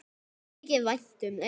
Mér þykir vænt um þig.